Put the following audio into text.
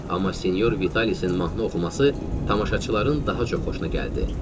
Amma sinyor Vitalisin mahnı oxuması tamaşaçıların daha çox xoşuna gəldi.